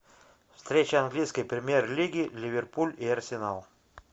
встреча английской премьер лиги ливерпуль и арсенал